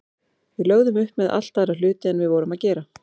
Við lögðum upp með allt aðra hluti en við vorum að gera.